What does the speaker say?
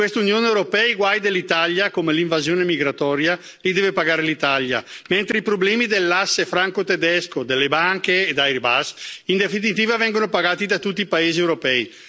In questa Unione europea i guai dell'Italia, come l'invasione migratoria, li deve pagare l'Italia, mentre i problemi dell'asse franco tedesco, delle banche e di Airbus, in definitiva vengono pagati da tutti i paesi europei.